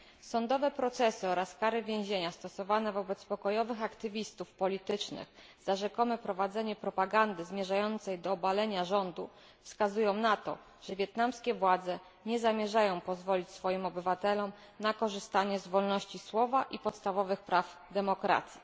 Sądowe procesy oraz kary więzienia stosowane wobec pokojowych działaczy politycznych za rzekome prowadzenie propagandy zmierzającej do obalenia rządu wskazują na to, że wietnamskie władze nie zamierzają pozwolić swoim obywatelom na korzystanie z wolności słowa i podstawowych praw demokracji.